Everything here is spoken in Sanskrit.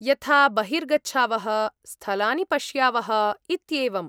यथा बहिर्गच्छावः, स्थलानि पश्यावः, इत्येवम्।